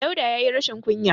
Dauda ya yi rashin kunya.